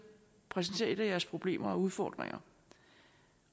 præsentér et af jeres problemer og udfordringer